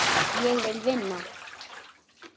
Ég vil vinna.